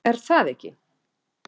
Er það ekki?